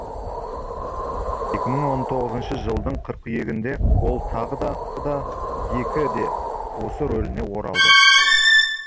екі мың он тоғызыншы жылдың қыркүйегінде ол тағы да бұл екі де осы рөліне оралды